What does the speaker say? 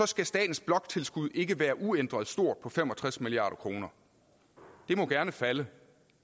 skal statens bloktilskud ikke være uændret stort på fem og tres milliard kroner det må gerne falde